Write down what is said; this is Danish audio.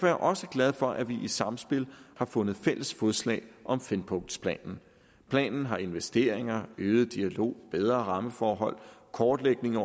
jeg også glad for at vi i samspil har fundet fælles fodslag om fempunktsplanen planen har investeringer øget dialog bedre rammeforhold kortlægning